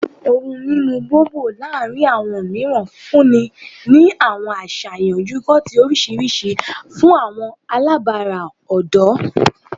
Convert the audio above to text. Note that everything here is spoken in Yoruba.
Ohun mimu Bobo laarin awọn miiran funni ni awọn aṣayan yogurt oriṣiriṣi fun awọn alabara ọdọ